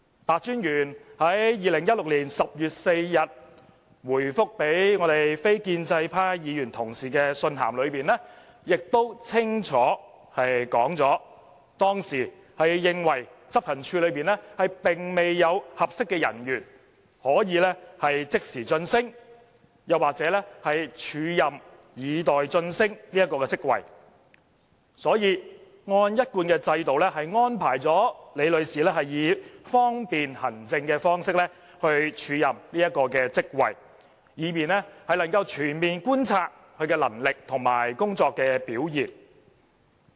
白專員在2016年10月4日答覆立法會非建制派議員同事的信函中，亦清楚說明當時是認為執行處內並未有合適的人員可以即時晉升或署任以待晉升該職位，所以按一貫制度安排李女士以方便行政的方式署任該職位，以便能夠全面觀察她的能力和工作表現。